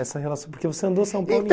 Essa relação, porque você andou São Paulo